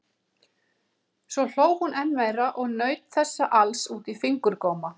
Svo hló hún enn meira og naut þessa alls út í fingurgóma.